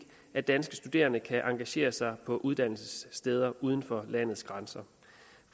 at danske studerende kan engagere sig på uddannelsessteder uden for landets grænser